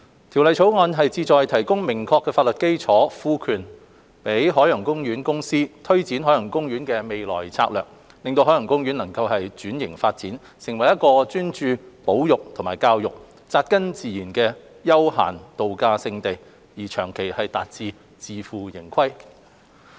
《條例草案》旨在提供明確法律基礎，賦權海洋公園公司推展海洋公園的未來策略，令海洋公園能轉型發展，成為一個專注保育和教育、扎根自然的休閒度假勝地，長遠達致自負盈虧。